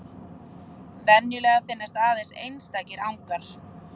Venjulega finnast aðeins einstakir angar.